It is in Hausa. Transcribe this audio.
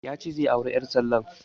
Ya ce zai auri ƴar tallan